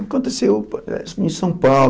Aconteceu parece em São Paulo.